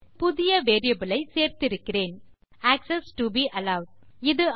இப்போது புதிய வேரியபிள் ஐ சேர்த்திருக்கிறேன் ஆக்செஸ் டோ பே அலோவெட்